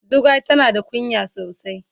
Zugwai tana da kunya sosai.